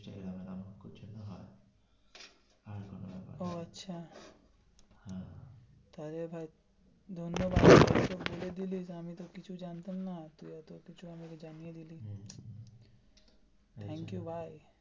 ও আচ্ছা তাহলে ভাই ধন্যবাদ বলে দিলি আমি তো কিছু জানতাম না এতো কিছু জানিয়ে দিলি thank you ভাই.